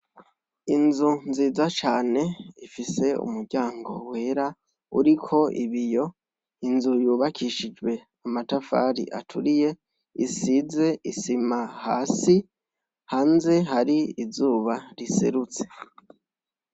Inzu nziza cane ifise umuryango wera uriko ibiyo. Inzu yubakishijwe amatafari aturiye isize isima hasi, hanze hari izuba riserutse.